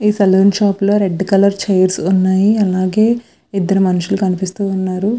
ఈ షాప్ లో red colour chairs వున్నాయ్ అలాగే ఇదరు మనుషుల్లు కనిపిస్తూ వున్నారు.